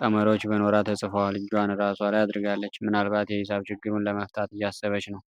ቀመሮች በኖራ ተጽፈዋል። እጇን ራሷ ላይ አድርጋለች። ምናልባት የሂሳብ ችግሩን ለመፍታት እያሰበች ነው።